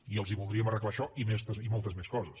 i els voldríem arreglar això i moltes més coses